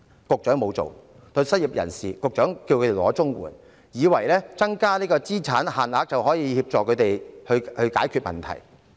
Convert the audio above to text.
局長叫失業人士申請綜援，以為提高了資產上限，便可以協助他們解決問題。